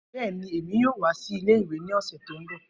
Bẹẹni, Emi yoo wa si ìle-ìwe ni ọsẹ to nbọ.